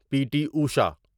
پی T Usha